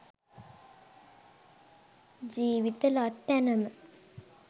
ජීවිත ලත් තැනම